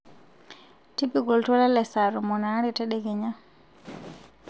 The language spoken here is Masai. tipika oltuala le saa tomon aare tedekenya